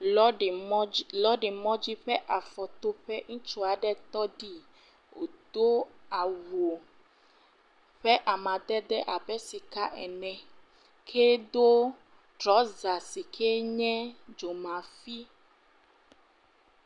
Lɔɔɖe mɔdzi. Lɔɔɖe mɔdzi ƒe afɔtoƒe. Ɛutsu aɖe tɔɖii, wòdo awu ƒe amadede abe sika ene. Wòdo trɔza si kee nye dzomafi.